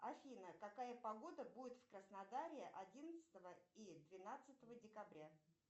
афина какая погода будет в краснодаре одиннадцатого и двенадцатого декабря